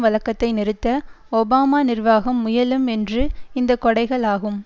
வழக்கத்தை நிறுத்த ஒபாமா நிர்வாகம் முயலும் என்று இந்த கொடைகள் ஆகும்